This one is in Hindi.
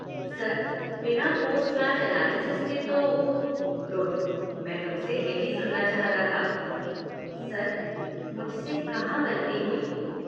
सर, बिना पोस्ट मैच अनालिसिस के तो, गुड, मैं तुम से यही सुनना चाहता था। सर, मुझसे कहाँ गलती हुई।